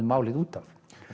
málið út af